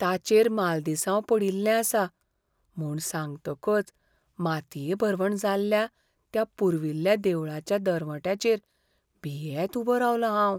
ताचेर मालदिसांव पडिल्लें आसा म्हूण सांगतकच मातये भरवण जाल्ल्या त्या पुर्विल्ल्या देवळाच्या दरवंट्याचेर भियेत उबो रावलों हांव.